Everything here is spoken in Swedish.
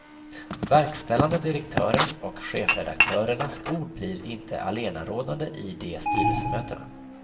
Verkställande direktörens och chefredaktörernas ord blir inte allenarådande i de styrelsemötena.